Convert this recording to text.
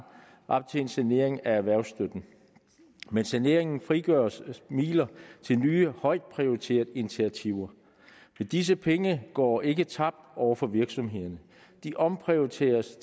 op til en sanering af erhvervsstøtten med saneringen frigøres midler til nye højtprioriterede initiativer men disse penge går ikke tabt over for virksomhederne de omprioriteres